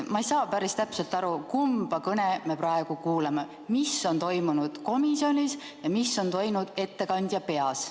Ma ei saa päris täpselt aru, kumba kõnet me praegu kuuleme, et mis on toimunud komisjonis ja mis on toimunud ettekandja peas.